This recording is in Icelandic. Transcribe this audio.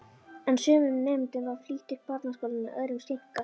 En sumum nemendum var flýtt upp barnaskólann en öðrum seinkað.